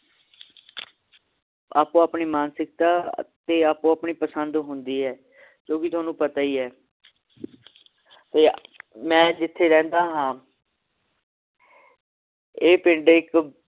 ਆਪੋ ਆਪਣੀ ਮਾਨਸਿਕਤਾ ਤੇ ਆਪੋ ਆਪਣੀ ਪਸੰਦ ਹੁੰਦੀ ਹੈ ਜੋ ਤੁਹਾਨੂੰ ਪਤਾ ਈ ਏ ਤੇ ਮੈ ਜਿਥੇ ਰਹਿੰਦਾ ਹਾਂ ਇਹ ਪਿੰਡ ਇਕ